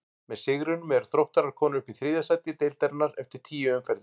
Með sigrinum eru Þróttarar komnir upp í þriðja sæti deildarinnar eftir tíu umferðir.